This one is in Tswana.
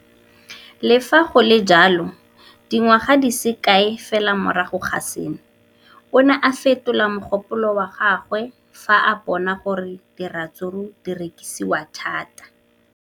Le fa go le jalo, dingwaga di se kae fela morago ga seno, o ne a fetola mogopolo wa gagwe fa a bona gore diratsuru di rekisiwa thata.